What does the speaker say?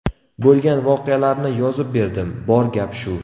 Bo‘lgan voqealarni yozib berdim, bor gap shu”.